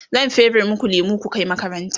zan fere maku lemu ku Kai makaranta